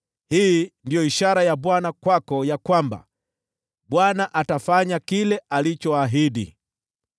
“ ‘Hii ndiyo ishara ya Bwana kwako ya kwamba Bwana atafanya kile alichoahidi: